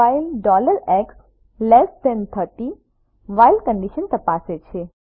while x30 while condition તપાસે છે